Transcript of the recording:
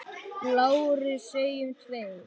LÁRUS: Segjum tveir!